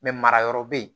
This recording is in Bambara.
marayɔrɔ bɛ yen